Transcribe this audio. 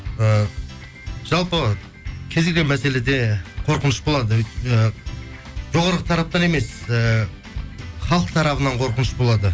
і жалпы кез келген мәселеде қорқыныш болады і жоғарғы тараптан емес ііі халық тарапына қорқыныш болады